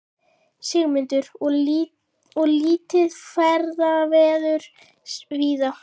Sigmundur: Og lítið ferðaveður víða?